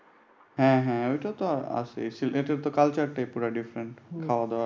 হ্যাঁ হ্যাঁ ঐটাও তো আছেই। সিলেটের culture টা পুরা different খাওয়া দাওয়া।